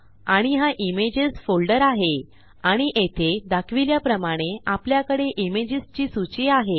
आणि हा images folder आहे आणि येथे दाखविल्याप्रमाणे आपल्याकडे इमेजेस ची सूची आहे